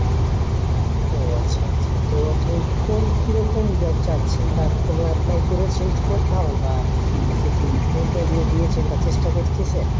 ও আচ্ছা আচ্ছা। তো আপনি কোন কিরকম Job চাচ্ছেন বা কোনো apply করেছেন কি কোথায়ও বা আপনি কি কোনো interview দিয়েছেন বা চেষ্টা করতেছেন?